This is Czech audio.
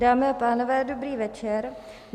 Dámy a pánové, dobrý večer.